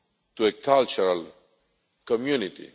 to a cultural community.